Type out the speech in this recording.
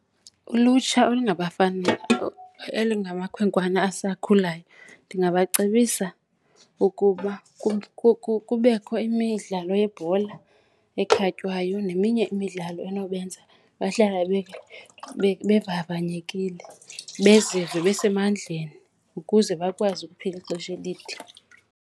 Ulutsha olungabafana elingamakhwenkwana asakhulayo ndingabacebisa ukuba kubekho imidlalo yebhola ekhatywayo neminye imidlalo enobenza bahlale bevavanyekile, beziva besemandleni ukuze bakwazi ukuphila ixesha elide.